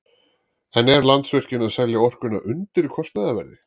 En er Landsvirkjun að selja orkuna undir kostnaðarverði?